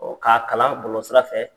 k'a kalan bɔlɔlɔ sira fɛ